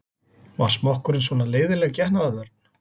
Var smokkurinn svona leiðinleg getnaðarvörn?